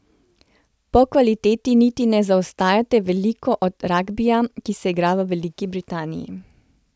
Po kvaliteti niti ne zaostajate veliko od ragbija, ki se igra v Veliki Britaniji.